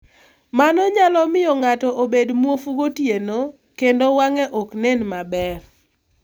Mano nyalo miyo ng'ato obed muofu gotieno, kendo wang'e ok nen maber.